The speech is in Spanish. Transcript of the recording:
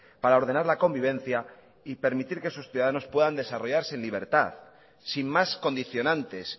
para ordenar la convivencia y permitir que sus ciudadanos puedan desarrollarse en libertad sin más condicionantes